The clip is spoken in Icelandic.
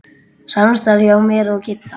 Samstarf hjá mér og Kidda?